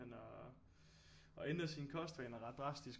Han at ændre sine kostvaner ret drastisk